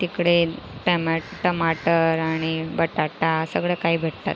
इकडे टे टमाटर आणि बटाटा सगळं काही भेटतात.